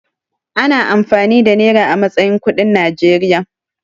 Ana amfani da nera a matsayin kuɗin Najeriya.